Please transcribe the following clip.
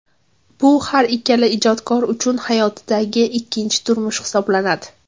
Bu har ikkala ijodkor uchun hayotidagi ikkinchi turmush hisoblanadi.